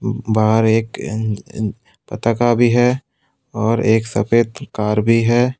बाहर एक अ अ पटाखा भी है और एक सफेद कार भी है।